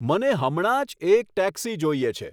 મને હમણાં જ એક ટેક્સી જોઈએ છે